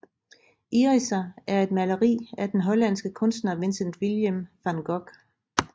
Iriser er et maleri af den hollandske kunstner Vincent willem van Gogh